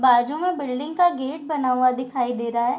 बाजू में बिल्डिंग का गेट बना हुआ दिखाई दे रहा है।